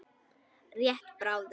Rétt bráðum.